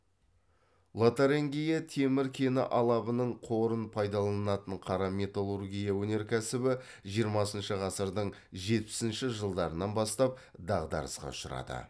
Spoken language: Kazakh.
лотарингия темір кені алабының қорын пайдаланатын қара металлургия өнеркәсібі жиырмасыншы ғасырдың жетпісінші жылдарынан бастап дағдарысқа ұшырады